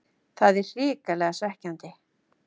Það er hrikalega svekkjandi.